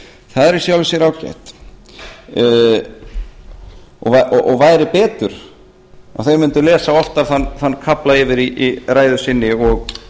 það er í sjálfu sér gott og væri betur að þeir mundu lesa oftar þann kafla yfir í ræðu sinni og